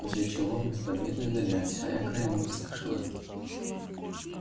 после чего мы с победой удалялись а я краем уха слышала